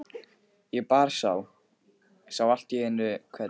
Ég bara sá. sá allt í einu hvern